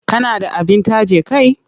Kana da abin taje kai?